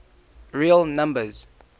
real numbers